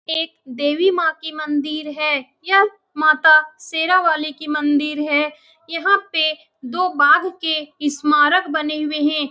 एक देवी माँ की मंदिर है यह माता शेरावाली की मंदिर है यहाँ पे दो बाघ के स्मारक बने हुए है।